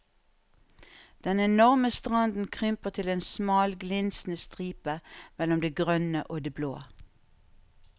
Den enorme stranden krymper til en smal glinsende stripe mellom det grønne og det blå.